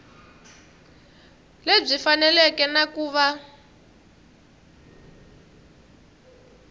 lebyi faneleke na ku va